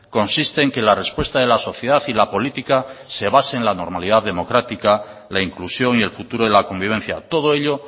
consiste en que la respuesta de la sociedad y la política se base en la normalidad democrática la inclusión y el futuro de la convivencia todo ello